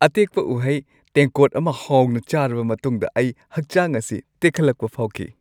ꯑꯇꯦꯛꯄ ꯎꯍꯩ ꯇꯦꯡꯀꯣꯠ ꯑꯃ ꯍꯥꯎꯅ ꯆꯥꯔꯕ ꯃꯇꯨꯡꯗ ꯑꯩ ꯍꯛꯆꯥꯡ ꯑꯁꯤ ꯇꯦꯛꯈꯠꯂꯛꯄ ꯐꯥꯎꯈꯤ ꯫